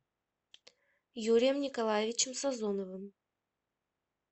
юрием николаевичем сазоновым